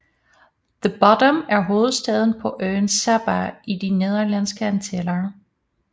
The Bottom er hovedstaden på øen Saba i De Nederlandske Antiller